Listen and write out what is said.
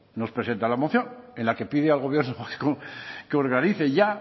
nos presenta la moción en la que pide al gobierno vasco que organice ya